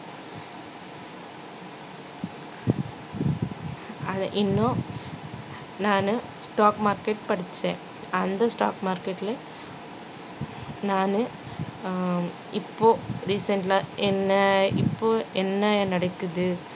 இன்னும் நானு stock market படிச்சேன் அந்த stock market ல நானு அஹ் இப்போ recent ல என்ன இப்போ என்ன நடக்குது